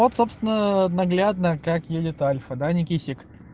вот собственно наглядно как едет альфа да никисик